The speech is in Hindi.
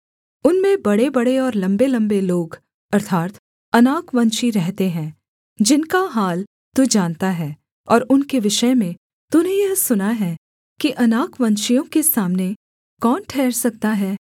उनमें बड़ेबड़े और लम्बेलम्बे लोग अर्थात् अनाकवंशी रहते हैं जिनका हाल तू जानता है और उनके विषय में तूने यह सुना है कि अनाकवंशियों के सामने कौन ठहर सकता है